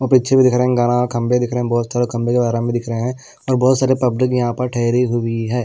और पीछे भी दिख रहे हैं खंभे दिख रहे हैं बहुत सारे खंभे भी दिख रहे हैं और बहुत सारे पब्लिक यहां पर ठहरी हुई है।